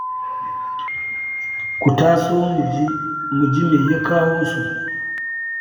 Ku taso mu je mu ji me ya kawo su.